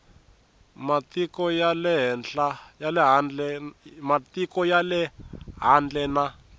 matiko ya le handle na